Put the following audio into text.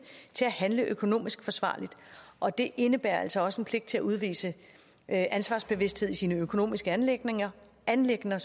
til at handle økonomisk forsvarligt og det indebærer altså også en pligt til at udvise ansvarsbevidsthed i de økonomiske anliggender anliggender